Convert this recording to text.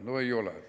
No ei ole.